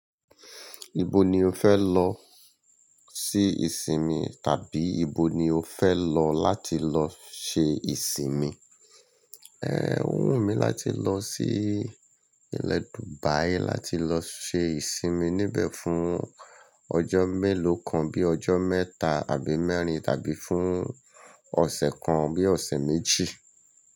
Ibo ni o fẹ lọ sí ìsinmi tàbí ibo ni o fẹ lọ láti lọ ṣe ìsinmi? Ẹ, ó wù mí láti lọ sí ilẹ̀ Dubai láti lọ ṣe ìsinmi níbẹ̀ fún ọjọ́ mélòó kan bí ọjọ́ mẹ́ta àbí mẹ́rin tàbí fún ọ̀sẹ̀ kan bí ọ̀sẹ̀ méjì.